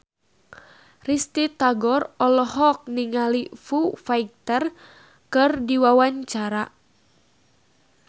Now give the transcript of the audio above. Risty Tagor olohok ningali Foo Fighter keur diwawancara